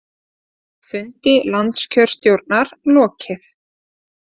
Fundi landskjörstjórnar lokið